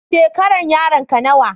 Shekaran yaron ka nawa?